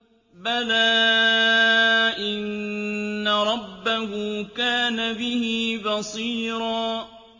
بَلَىٰ إِنَّ رَبَّهُ كَانَ بِهِ بَصِيرًا